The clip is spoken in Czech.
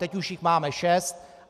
Teď už jich máme šest.